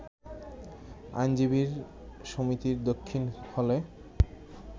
আইনজীবী সমিতির দক্ষিণ হলে